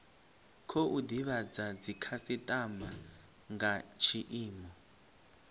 khou divhadza dzikhasitama nga tshiimo